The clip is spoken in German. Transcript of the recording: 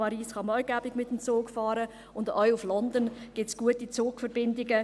Nach Paris kann man auch bequem mit dem Zug fahren, und auch nach London gibt es gute Zugsverbindungen.